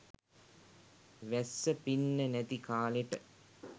වැස්ස පින්න නැති කාලෙට.